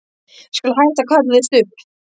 Ég skal hætta að kalla þig Stubb.